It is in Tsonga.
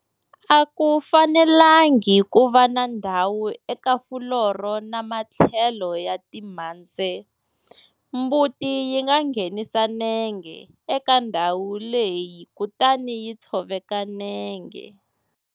A ku fanelengi ku va na ndhawu eku fuloro na matlhelo ya timhandzhe. Mbuti yi nga nghenisa nenge eka ndhawu leyi kutani yi tshoveka nenge.